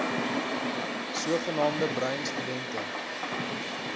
sogenaamde bruin studente